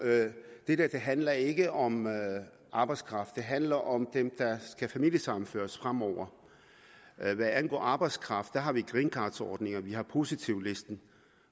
det her handler ikke om arbejdskraft det handler om dem der skal familiesammenføres fremover hvad angår arbejdskraft har vi greencardordninger og vi har positivlisten